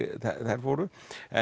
þær fóru en